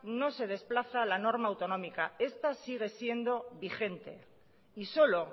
no se desplaza la norma autonómica esta sigue siendo vigente y solo